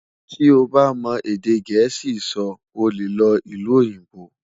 tí o bá mọ èdè gèésì sọ, ọ lẹ ló ìlú òyìnbó